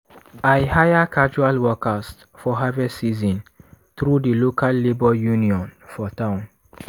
i hire casual workers for harvest season through di local labour union for town.